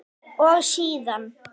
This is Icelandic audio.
Og síðan?